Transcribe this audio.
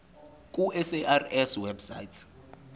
ku sars website